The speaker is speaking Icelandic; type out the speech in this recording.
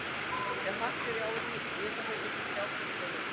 Ef hart er í ári éta þeir einnig trjábörk og lauf.